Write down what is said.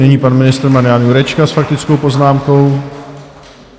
Nyní pan ministr Marian Jurečka s faktickou poznámkou.